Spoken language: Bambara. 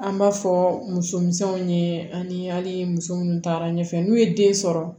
An b'a fɔ musomisɛnw ye ani muso minnu taara ɲɛfɛ n'u ye den sɔrɔ